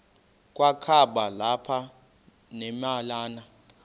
kwakaba lapha nemalana